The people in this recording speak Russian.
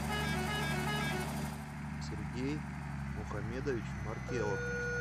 сергей мухамедович маркелов